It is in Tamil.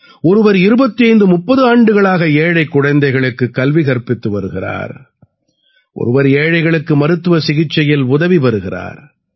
ஒருவர் 2530 ஆண்டுகளாக ஏழைக் குழந்தைகளுக்குக் கல்வி கற்பித்து வருகிறார் ஒருவர் ஏழைகளுக்கு மருத்துவச் சிகிச்சையில் உதவி வருகிறார்